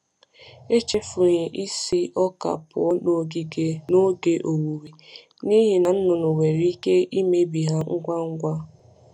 Echefughị isi ọka pụọ n’ogige n’oge owuwe, n’ihi na nnụnụ nwere ike imebi ha ngwa ngwa.